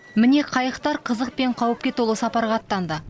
міне қайықтар қызық пен қауіпке толы сапарға аттанды